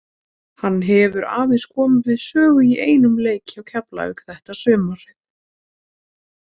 Hann hefur aðeins komið við sögu í einum leik hjá Keflavík þetta sumarið.